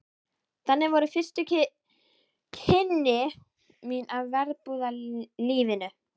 Þannig voru fyrstu kynni mín af verbúðalífinu.